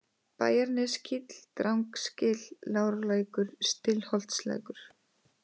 Bæjarneskíll, Drangsgil, Lárlækur, Stillholtslækur